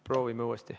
Proovime uuesti.